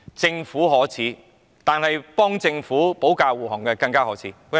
政府可耻，但為政府保駕護航的人更加可耻。